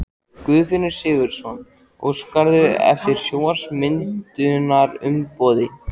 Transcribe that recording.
Guðfinnur Sigurvinsson: Óskarðu eftir stjórnarmyndunarumboði?